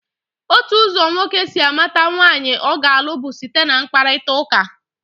Otu ụzọ nwoke si amata nwaanyị ọ ga-alụ bụ site na mkparịtaụka.